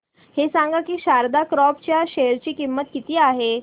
हे सांगा की शारदा क्रॉप च्या शेअर ची किंमत किती आहे